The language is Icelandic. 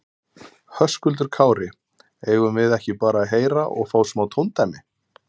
Höskuldur Kári: Eigum við ekki bara að heyra og fá smá tóndæmi?